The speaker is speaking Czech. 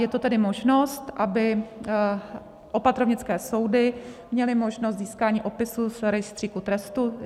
Je to tedy možnost, aby opatrovnické soudy měly možnost získání opisu z Rejstříku trestů.